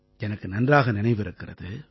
எனக்கு நன்றாக நினைவிருக்கிறது